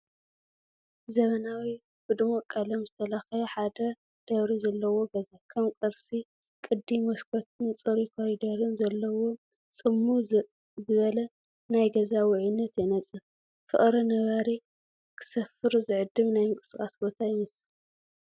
ዘመናዊ፡ ብድሙቕ ቀለም ዝተለኽየ፡ ሓደ ደብሪ ዘለዎ ገዛ፡ ከም ቅርሲ ቅዲ መስኮትን ጽሩይ ኮሪደርን ዘለዎ፡ ጽምው ዝበለ ናይ ገዛ ውዑይነት የነጽር። ፍቑር ነባሪ ክሰፍር ዝዕድም ናይ ምንቅስቓስ ቦታ ይመስል።